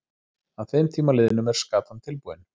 Að þeim tíma liðnum er skatan tilbúin.